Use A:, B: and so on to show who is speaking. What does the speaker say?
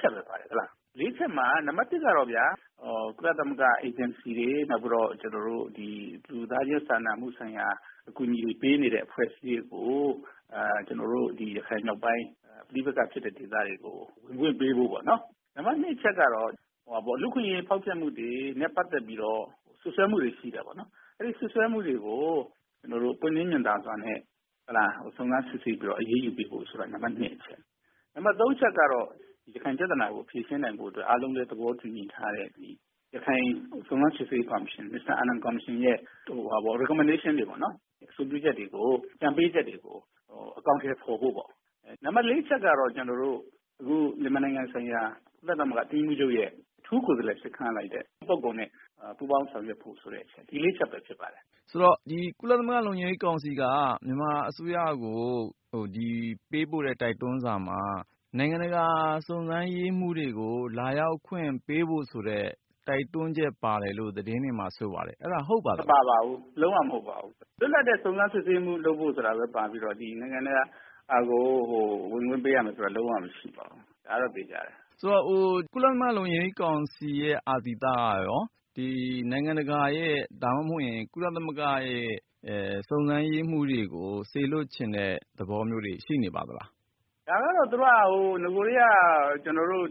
A: ချက်ပဲပါတယ်။ ၄ ချက်မှာ နံပတ် ၁ ကတော့ ကုလသမဂ္ဂ အေဂျင်စီတွေ ကျနေ်ာတို့ဒီ လူသားချင်းစာနာမှု အကူအညီပေးနေတဲ့အဖွဲ့တွေကို ရခိုင်မြောက်ပိုင်း ပဋိပက္ခဖြစ်တဲ့ ဒေသတွေကို ဝင်ခွင့်ပေးဖို့ပေါ့နော် ။ နံပတ် ၂ အချက်ကတော့ လူ့အခွင့်အရေးဖောက်ဖျက်မှုတွေ နဲ့ ပတ်သက်ပြီးတော့ စွပ်စွဲမှုတွေရှိတယ်ပေါေ့နာ်။ အဲဒီစွပ်စွဲမှုတွေကို ပွင့်လင်းမြင်သာစွာနဲ့ စုံစမ်းစစ်ဆေးပြီးတော့ အရေးယူပေးဖို့ဆိုတာ နံပတ် ၂ အချက်။ နံပတ် ၃ အချက် ကတော့ ရခိုင်ပြဿနာကို ဖြေရှင်းနိုင်ဖို့အတွက် အားလုံးလည်းသဘောတူထားတဲ့ ရခိုင်စုံစမ်းစစ်ဆေးရေးကော်မရှင် မစ္စတာအာနန်ကော်မရှင် ရဲ့ Recommendation တွေပေါ့နော် အဆိုပြုချက်၊ အကြံပေးချက်တွေကို အကောင်အထည်ဖော်ဖို့၊ နံပတ် ၄ အချက်ကတော့ အခုမြန်မာနိုင်ငံဆိုင်ရာ ကုလသမဂ္ဂအတွင်းရေးမှူးချုပ်ရဲ့ အထူးကိုယ်စားလှယ် ပုဂ္ဂိုလ်နဲ့ ပူးပေါင်းဆောင်ရွက်ဖို့ဆိုတဲ့ အချက် ၄ ချက်တွေဖြစ်ပါတယ်။
B: ဆိုတော့ ကုလသမဂ္ဂလုံခြုံရေးကောင်စီက မြန်မာအစိုးရကို ပေးပို့တဲ့ တိုက်တွန်းစာမှာ နိုင်ငံတကာ စုံစမ်းရေးမှူးတွေကို လာရောက်ခွင့်ပေးဖို့ဆိုတဲ့ တိုက်တွန်းချက်ပါတယ်လို့ သတင်းတွေကဆိုပါတယ် အဲဒါဟုတ်ပါသလား။
A: မပါပါဘူး လုံးဝမဟုတ်ပါဘူး။ လွတ်လပ်တဲ့ စုံစမ်းစစ်ဆေးမှုလုပ်ဖို့ဆိုတာပဲပါပြီးတော့ ဒီနိုင်ငံတကာကို ဝင်ခွင့်ပေးရမယ်ဆိုတာက လုံးဝမရှိပါဘူး ဒါကတော့ သေချာတယ်။
B: ဆိုတော့ ကုလသမဂ္ဂလုံခြုံရေးကောင်စီရဲ့ အာသီသကရော ဒီနိုင်ငံတကာရဲ့ ဒါမှမဟုတ်ရင် ကုလသမဂ္ဂစုံစမ်းရေးမှူးတွေကို စေလွှတ်ချင်တဲ့ သဘောမျိုးတွေ ရှိနေပါသလား။
A: ဒါကတော့ သူတို့ နဂိုကတည်းက လူ့